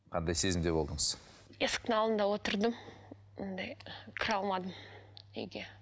қандай сезімде болдыңыз есіктің алдында отырдым андай кіре алмадым үйге